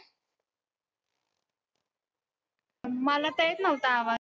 मला तर येत नव्हता आवाज.